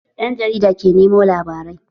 Ɗan jarida ke nemo labarai